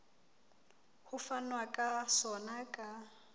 ho fanwa ka sona ka